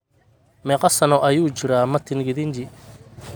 Meeqa sano ayuu jiraa Martin Githinji?